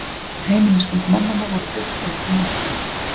Heimilisföng mannanna voru birt undir myndunum